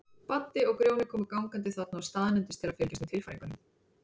Baddi og Grjóni komu gangandi þarna að og staðnæmdust til að fylgjast með tilfæringunum.